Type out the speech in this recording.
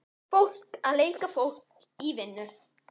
Fólk að leika fólk í vinnu.